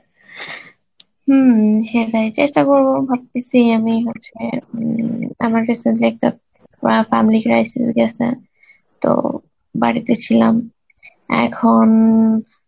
হম সেটাই, চেষ্ঠা করবো ভাবতেসি আমি হচ্ছে উম আমার কাসে যে একটা অ্যাঁ family crisis গেসে তো বাড়িতে ছিলাম, এখন